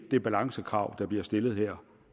det balancekrav der bliver stillet her